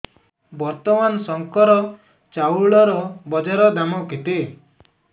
ବର୍ତ୍ତମାନ ଶଙ୍କର ଚାଉଳର ବଜାର ଦାମ୍ କେତେ